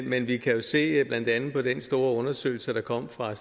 men vi kan jo se blandt andet af den store undersøgelse der kom fra